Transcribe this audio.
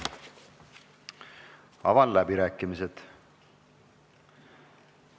Avan läbirääkimised.